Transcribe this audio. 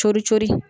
Coron cori